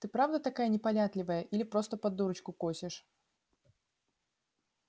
ты правда такая непонятливая или просто под дурочку косишь